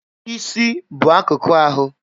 Isi bụ akụkụ ahụ.